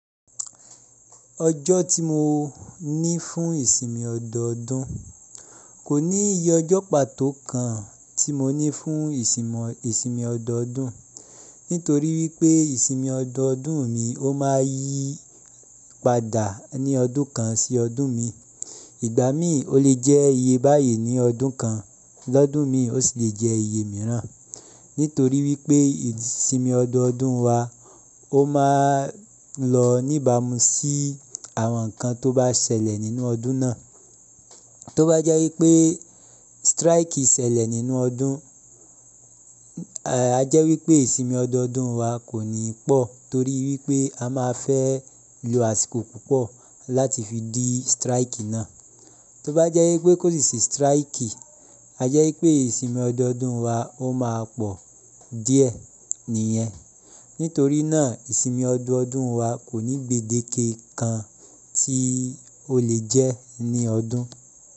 Ọjọ́ tí mo ní fún ìsinmi ọdọọdún kò ní iye ọjọ́ pàtó kan tí mo ní fún ìsinmi ọdọọdún. Nítorí wípé ìsinmi ọdọọdún mi ó máa yí padà ní ọdún kan sí ọdún mi. Ìgbàmí ò lè jẹ́ iye báyìí ní ọdún kan lọ́dún mi ó sì le jẹ́ iye mìíràn. Nítorí wípé ìsinmi ọdọọdún wa ó máa lọ níbàmúsí àwọn nǹkan tó bá ṣẹlẹ̀ nínú ọdún náà. Tó bá jẹ́ wípé strike ṣẹlẹ̀ nínú ọdún, a jẹ́ wípé ìsinmi ọdọọdún wa kò ní pọ̀ torí wípé a máa fẹ́ lo àsìkò púpọ̀ láti fi dí strike náà. Tó bá jẹ́ wípé kò sì sí strike, a jẹ́ wípé ìsinmi ọdọọdún wa ó máa pọ̀ díẹ̀ nìyẹn. Nítorí náà ìsinmi ọdọọdún wa kòní gbèdéke kan tí ó lè jẹ́ ní ọdún.